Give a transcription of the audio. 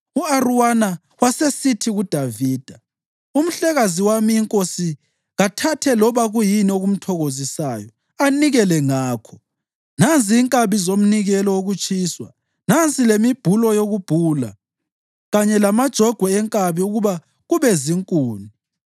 U-Arawuna wasesithi kuDavida, “Umhlekazi wami inkosi kathathe loba kuyini okumthokozisayo anikele ngakho. Nanzi inkabi zomnikelo wokutshiswa, nansi lemibhulo yokubhula kanye lamajogwe enkabi ukuba kube zinkuni.